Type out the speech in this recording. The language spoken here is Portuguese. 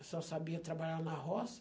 Eu só sabia trabalhar na roça.